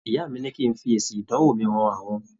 Ìyá mi ní kí n fi èsì ìdánwò mi han àwọn.